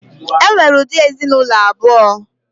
E nwere ụdị ezinụlọ abụọ.